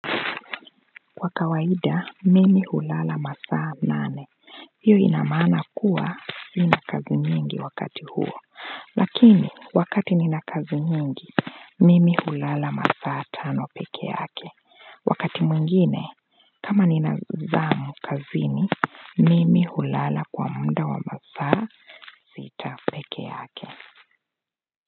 Kwa kawaida mimi hulala masaa nane hiyo inamaana kuwa sina kazi nyingi wakati huo lakini wakati nina kazi nyingi mimi hulala masaa tano peke yake wakati mwingine kama nina zamu kazini mimi hulala kwa muda wa masaa sita peke yake.